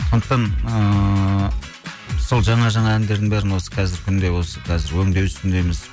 сондықтан ыыы сол жаңа жаңа әндердің бәрін осы қазіргі күнде осы қазір өңдеу үстіндеміз